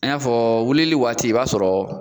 An y'a fɔ wulili waati i b'a sɔrɔ